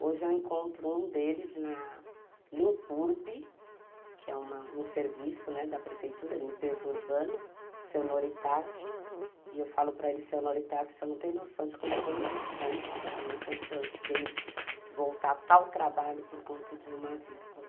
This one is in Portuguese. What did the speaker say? Hoje eu encontro um deles na Limpurb, que é um serviço da prefeitura, limpeza urbana, seu Noritaki, e eu falo para ele, seu Noritaki, você não tem noção de como foi importante para mim quando o senhor fez voltar tal trabalho por conta de uma vírgula.